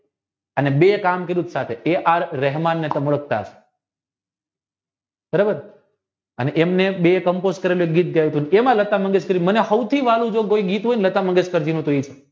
એમ બે કામ તે રહેમાનને માલશ્કર અને એમને એમાં લતા મંગેશકર નું સૌથી વાલુ ગીત જે હોય ને તો એ